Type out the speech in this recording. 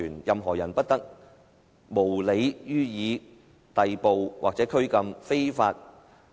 任何人不得無理予以逮捕或拘禁。